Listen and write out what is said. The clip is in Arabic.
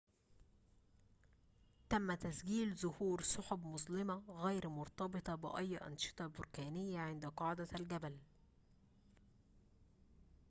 تم تسجيل ظهور سحب مظلمة غير مرتبطة بأي أنشطة بركانية عند قاعدة الجبل